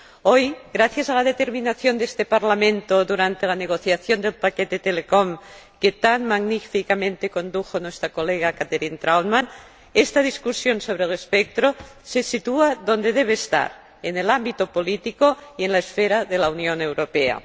Hoy, gracias a la determinación de este Parlamento durante la negociación del paquete sobre telecomunicaciones, que tan magníficamente condujo nuestra colega Catherine Trautmann, esta discusión sobre el espectro se sitúa donde debe estar, en el ámbito político y en la esfera de la Unión Europea.